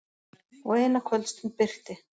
Og eina kvöldstund birti.